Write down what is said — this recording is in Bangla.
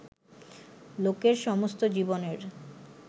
লোকের সমস্ত জীবনের